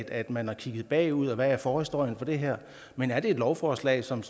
at man har kigget bagud og hvad der er forhistorien for det her men er det et lovforslag som